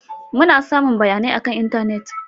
Muna samun bayanai akan intanet.